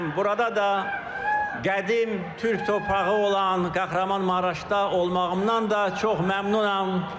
Burada da qədim türk torpağı olan Kahramanmaraşda olmağımdan da çox məmnunam.